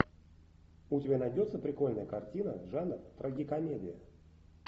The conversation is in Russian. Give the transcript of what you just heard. у тебя найдется прикольная картина жанр трагикомедия